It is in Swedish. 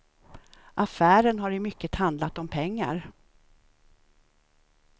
Affären har i mycket handlat om pengar.